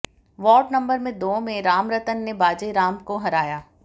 ward number दो में रामरतन ने बाजे राम को हराया